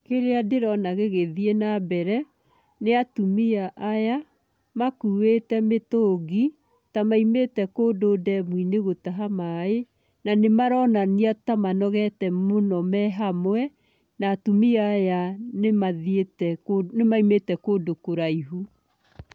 Kĩrĩa ndĩrona gĩgĩthiĩ na mbere nĩ atumia aya makuĩte mitũngi, ta maumĩte kũndũ ndemu-inĩ gũtaha maaĩ, na nĩmaronania ta manogete mũno me hamwe, na atumia aya nĩ mathiĩte, nĩ maumĩte kũndũ kũraihu.